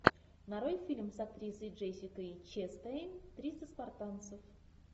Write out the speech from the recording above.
нарой фильм с актрисой джессикой честейн триста спартанцев